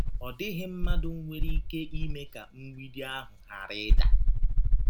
Ọ dịghị mmadụ nwere ike ime ka mgbidi ahụ ghara ịda.